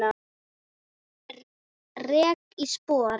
Rek ég spor.